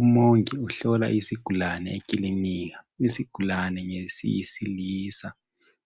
Umongi uhlola izigulane ekilinika izigulane ngeziyisilisa